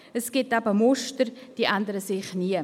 Es gibt eben Muster, die ändern sich nie.